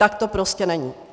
Tak to prostě není.